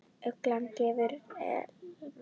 Ugla gefur Elmar út.